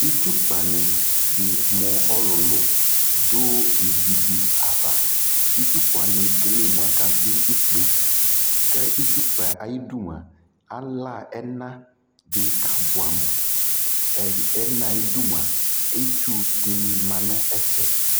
itsʋ kpa di mʋ ɔlʋlʋ dʋ ivi di aɣa, itsu kpa wani ɛkɛlɛ mʋ aka vi ikpey, kʋ itsu kpaɛ ayidʋ mʋa alaa ɛna di kʋ abʋɛ amʋ, ɛnaɛ ayidʋ mʋa itsʋ dini manʋ ɛƒɛ